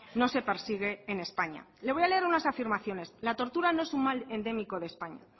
no se persigue en españa le voy a leer unas afirmaciones la tortura no es un mal endémico de españa